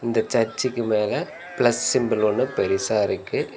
இந்த சர்ச்சிக்கு மேல பிளஸ் சிம்பல் ஒன்னு பெருசா இருக்கு.